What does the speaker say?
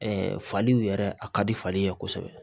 faliw yɛrɛ a ka di fali ye kosɛbɛ